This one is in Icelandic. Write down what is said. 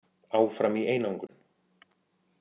Áfram í einangrun